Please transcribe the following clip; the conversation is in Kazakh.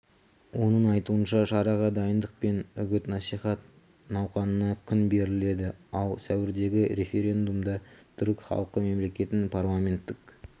оның айтуынша шараға дайындық пен үгіт-насихат науқанына күн беріледі ал сәуірдегі референдумда түрік халқы мемлекеттің парламенттік